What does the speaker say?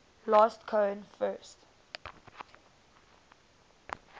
last cohen first